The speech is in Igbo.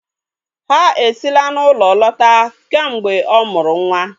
Ha esila n'ulo lota kamgbe o mụrụ nwa.